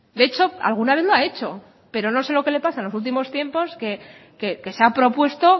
de hecho alguna vez lo ha hecho pero no sé lo que le pasa en los últimos tiempos que se ha propuesto